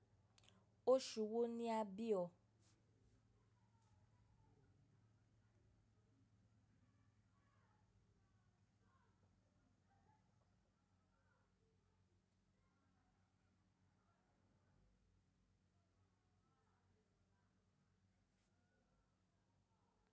Oṣù wo ni a bi ọ?